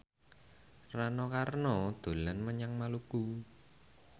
Rano Karno dolan menyang Maluku